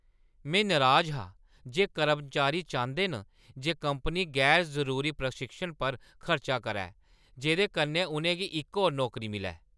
में नराज हा जे कर्मचारी चांह्‌दे न जे कंपनी गैर जरूरी प्रशिक्षण पर खर्च करै जेह्दे कन्नै उʼनें गी इक होर नौकरी मिलै।